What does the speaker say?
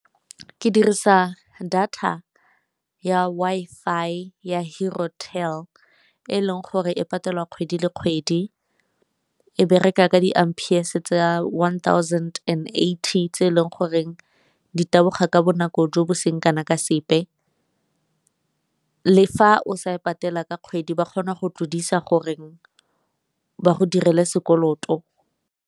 Ke dirisa data ya Wi-Fi ya e leng gore e patela kgwedi le kgwedi, e bereka ka di Ampers tsa one thousand and eighty tse e leng goreng di taboga ka bonako jo bo seng kana ka sepe. Le fa o sa e patela ka kgwedi ba kgona go tlodisa gore ba go direle sekoloto.